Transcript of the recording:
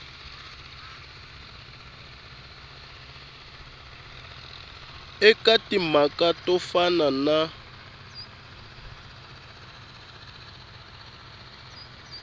eka timhaka to fana na